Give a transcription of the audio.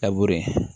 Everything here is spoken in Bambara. A b'o ye